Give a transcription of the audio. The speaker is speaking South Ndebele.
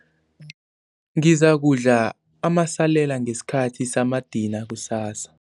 Ngizakudla amasalela ngesikhathi samadina kusasa.